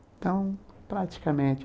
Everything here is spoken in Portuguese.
Então, praticamente...